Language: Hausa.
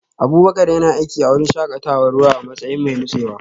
Abubakar yana aiki a wurin shakatawar ruwa a matsayin mai nutsewa